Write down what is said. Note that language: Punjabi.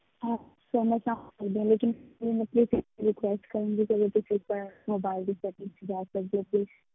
Okay sir ਮੈਂ ਸਮਝਦੀ ਹਾਂ ਲੇਕਿੰਨ request ਕਰਨ ਦੀ ਜਿਹੜੀ mobile ਦੀ setting ਵਿੱਚ ਜਾ ਸਕਦੇ ਹੋ please